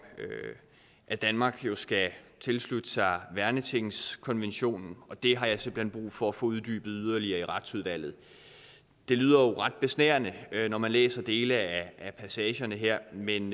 at danmark skal tilslutte sig værnetingskonventionen og det har jeg simpelt hen brug for at få uddybet yderligere i retsudvalget det lyder jo ret besnærende når man læser dele af passagerne her men